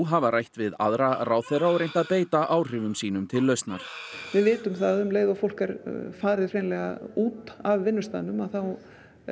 hafa rætt við aðra ráðherra og reynt að beita áhrifum sínum til lausnar við vitum það að um leið og fólk er farið hreinlega út af vinnustaðnum þá